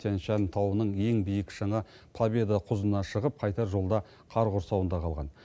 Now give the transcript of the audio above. тянь шань тауының ең биік шыңы победа құзына шығып қайтар жолда қар құрсауында қалған